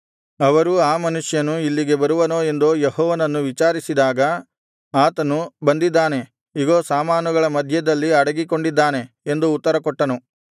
ಅವರು ಆ ಮನುಷ್ಯನು ಇಲ್ಲಿಗೆ ಬರುವನೋ ಎಂದು ಯೆಹೋವನನ್ನು ವಿಚಾರಿಸಿದಾಗ ಆತನು ಬಂದಿದ್ದಾನೆ ಇಗೋ ಸಾಮಾನುಗಳ ಮಧ್ಯದಲ್ಲಿ ಅಡಗಿಕೊಂಡಿದ್ದಾನೆ ಎಂದು ಉತ್ತರಕೊಟ್ಟನು